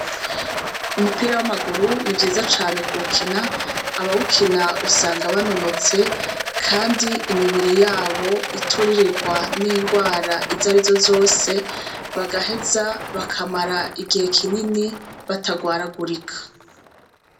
Umupira wamaguru ni vyiza cane kuwukina abawukina usanga banonotse umubiri wabo uturirigwa ningwara izarizo zose bagaheza bakamara igihe kinini batagwaragurika.